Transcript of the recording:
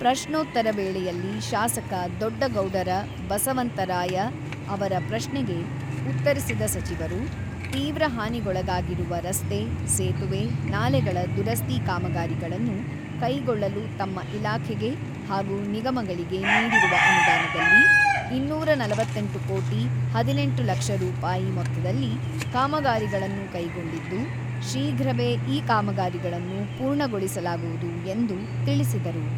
ಪ್ರಶೋತ್ತರ ವೇಳೆಯಲ್ಲಿ ಶಾಸಕ ದೊಡ್ಡಗೌಡರ ಬಸವಂತರಾಯ ಅವರ ಪ್ರಶ್ನೆಗೆ ಉತ್ತರಿಸಿದ ಸಚಿವರು, ತೀವ್ರ ಹಾನಿಗೊಳಗಾಗಿರುವ ರಸ್ತೆ, ಸೇತುವೆ, ನಾಲೆಗಳ ದುರಸ್ತಿ ಕಾಮಗಾರಿಗಳನ್ನು ಕೈಗೊಳ್ಳಲು ತಮ್ಮ ಇಲಾಖೆಗೆ ಹಾಗೂ ನಿಗಮಗಳಿಗೆ ನೀಡಿರುವ ಅನುದಾನದಲ್ಲಿ ಇನ್ನೂರ ನಲವತ್ತೆಂಟು ಕೋಟಿ ಹದಿನೆಂಟು ಲಕ್ಷ ರೂಪಾಯಿ ಮೊತ್ತದಲ್ಲಿ ಕಾಮಗಾರಿಗಳನ್ನು ಕೈಗೊಂಡಿದ್ದು, ಶೀಘ್ರವೇ ಈ ಕಾಮಗಾರಿಗಳನ್ನು ಪೂರ್ಣಗೊಳಿಸಲಾಗುವುದು ಎಂದು ತಿಳಿಸಿದರು.